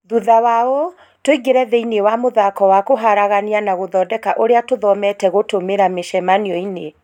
thutha wa ũũ, tũingĩre thĩinĩ wa mũthako wa kũharagania na gũthondeka ũrĩa tũthomete gũtũmĩra mĩcemanio inĩ